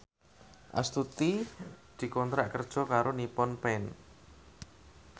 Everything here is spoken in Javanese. Astuti dikontrak kerja karo Nippon Paint